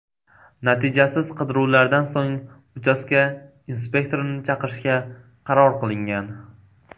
Natijasiz qidiruvlardan so‘ng uchastka inspektorini chaqirishga qaror qilingan.